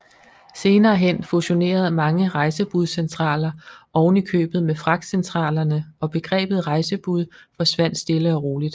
Senere hen fusionerede mange rejsebudscentraler ovenikøbet med fragtcentralerne og begrebet rejsebud forsvandt stille og roligt